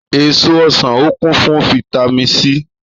Èso ọsàn ọ kún fún vitami Sí